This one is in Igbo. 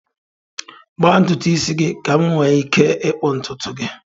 Gbaa ntutu isi gị, ka m nwee ike ịkpụ ntutu gị.